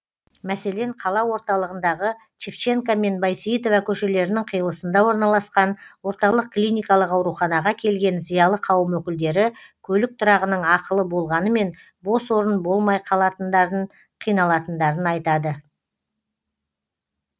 мәселен қала орталығындағы шевченко мен байсейітова көшелерінің қиылысында орналасқан орталық клиникалық ауруханаға келген зиялы қауым өкілдері көлік тұрағының ақылы болғанымен бос орын болмай қиналатындарын айтады